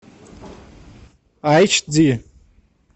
эйч ди